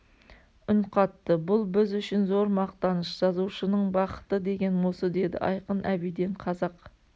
үн қатты бұл біз үшін зор мақтаныш жазушының бақыты деген осы деді айқын әбиден қазақ